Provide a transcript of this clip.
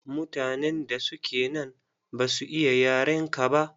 Mutanen da suke nan ba su iya yarenka ba.